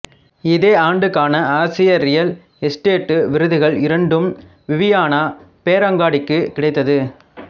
இதே ஆண்டுக்கான ஆசிய ரியல் எசுடேட்டு விருதுகள் இரண்டும் விவியானா பேரங்காடிக்கு கிடைத்தது